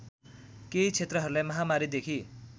केही क्षेत्रहरूलाई महामारीदेखि